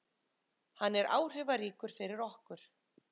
Hann er áhrifaríkur fyrir okkur.